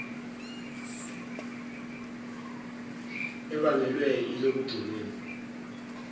ebangelwe ilobuge bengu